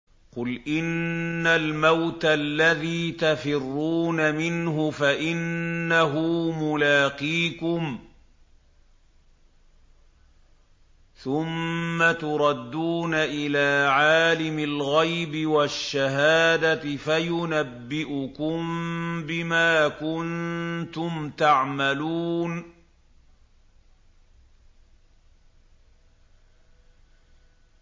قُلْ إِنَّ الْمَوْتَ الَّذِي تَفِرُّونَ مِنْهُ فَإِنَّهُ مُلَاقِيكُمْ ۖ ثُمَّ تُرَدُّونَ إِلَىٰ عَالِمِ الْغَيْبِ وَالشَّهَادَةِ فَيُنَبِّئُكُم بِمَا كُنتُمْ تَعْمَلُونَ